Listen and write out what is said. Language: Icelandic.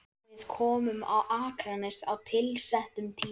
Við komum á Akranes á tilsettum tíma.